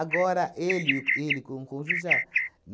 Agora, ele ele com o Conjujá.